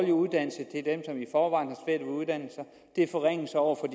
at uddanne sig og det er forringelser over for